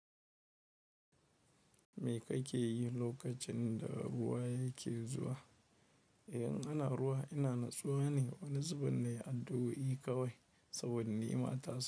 Me kake yi lokacin da ruwa yake zuwa? In ana ruwa, ina natsuwa ne wani zubin na yi aduwawi kawai saboda ni ma tasa.